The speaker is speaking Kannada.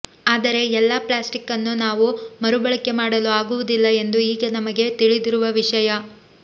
ಆದರೆ ಎಲ್ಲಾ ಪ್ಲಾಸ್ಟಿಕ್ ಅನ್ನು ನಾವು ಮರುಬಳಕೆ ಮಾಡಲು ಆಗುವುದಿಲ್ಲ ಎಂದು ಈಗ ನಮಗೆ ತಿಳಿದಿರುವ ವಿಷಯ